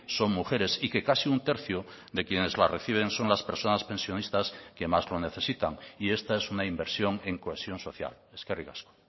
son mujeres y que casi un tercio de quienes la reciben son las personas pensionistas que más lo necesitan y esta es una inversión en cohesión social eskerrik asko